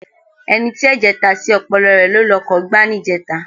Ẹni tí ẹ̀jẹ̀ ta sí ọpọlọ rẹ ló lọkọ̀ gbá níjẹta.